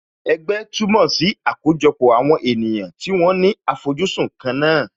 Ẹgbẹ́ túmọ̀ sí àkójọpọ̀ àwọn ènìyàn tí wọ́n ní àfojúsùn kan náà